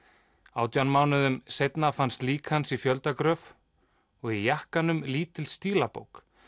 átján mánuðum seinna fannst lík hans í fjöldagröf og í jakkanum lítil stílabók